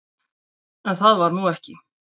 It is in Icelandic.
En það varð nú ekki.